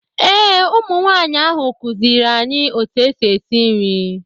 Ee ụmụ nwaanyị ahụ kụziiri anyị etu esi esi nri